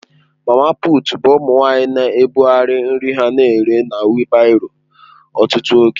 Mama puut bụ ụmụ nwanyị na-ebugharị nri ha na-ere na wịịlbárọ ọtụtụ oge.